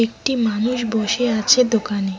একটি মানুষ বসে আছে দোকানে।